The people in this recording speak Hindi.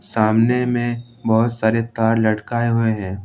सामने में बहुत सारे तार लटकाए हुए हैं।